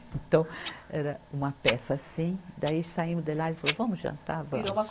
Então, era uma peça assim, daí saímos de lá, ele falou, vamos jantar, vamos.